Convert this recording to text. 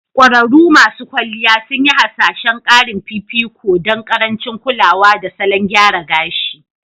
Ƙwararrun masu kwalliya sun yi hasashen ƙarin fifiko don ƙarancin kulawa da salon gyara gashii